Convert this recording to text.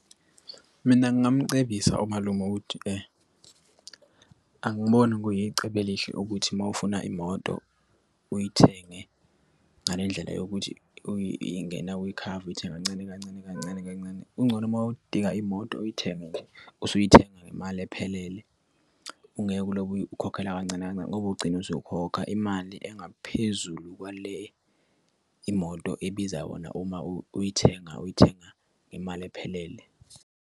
Mina ngingamcebisa umalume ukuthi angiboni kuyicebo elihle ukuthi uma ufuna imoto uyithenge ngale ndlela yokuthi ingena kwikhava, uyithenge kancane kancane kancane kancane. Kungcono uma udinga imoto uyithenge usuyithenga ngemali ephelele. Ungeke ulobu ukhokhela kancane kancane ngoba ugcine usukhokha imali engaphezulu kwale imoto ebiza wona. Uma uyithenga uyithenga ngemali ephelele.